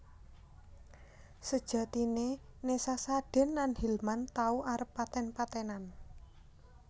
Sejatiné Nessa Sadin lan Hilman tau arep paten patenan